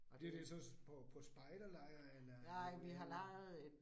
Og det jo det så på på spjderlejr eller